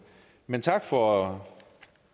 men tak for